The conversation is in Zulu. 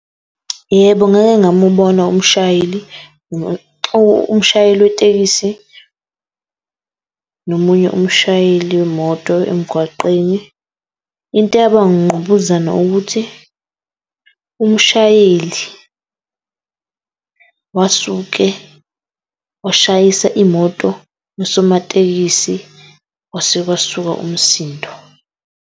Yebo, ngake ngamubona umshayeli umshayeli wetekisi nomunye umshayeli wemoto emgwaqeni. Into eyabanga ukungqubuzana ukuthi umshayeli wasuke washayisa imoto yasomatekisi kwase kwasuka umsindo.